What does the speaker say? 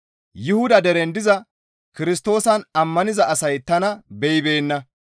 Yuhuda deren diza Kirstoosan ammaniza asay tana beyibeenna.